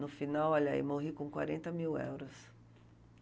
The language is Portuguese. No final, olha aí, morri com quarenta mil euros.